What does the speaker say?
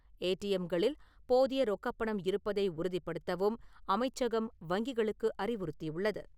ஏடிஎம்-களில் போதிய ரொக்கப் பணம் இருப்பதை உறுதிப்படுத்தவும் அமைச்சகம் வங்கிகளுக்கு அறிவுறுத்தியுள்ளது.